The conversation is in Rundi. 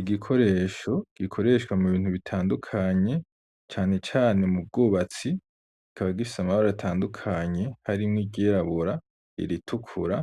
Igikoresho gikoreshwa mu bintu bitandukanye cane cane mu bwubatsi kikaba gifise amabara atandukanye harimwo iryirabura, iritukura